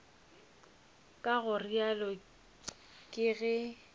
ka go realo ke ge